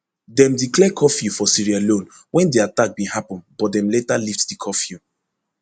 dem declare curfew for sierra leone wen di attack bin happun but dem later lift di curfew